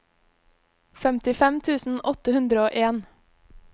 femtifem tusen åtte hundre og en